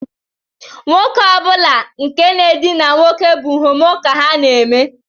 Nwoke ọ bụla nke na-edina nwoke bụ homo ka ha na-eme